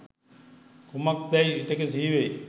කුමක්දැයි විටෙක සිහිවෙයි.